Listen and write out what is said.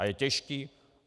A je těžký.